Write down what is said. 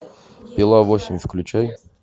пила восемь включай